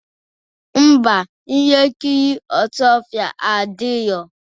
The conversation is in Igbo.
Ḿbà, ihe nkiri ọsụọfịa adịrọ.